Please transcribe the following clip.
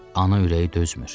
Ana ürəyi dözmür.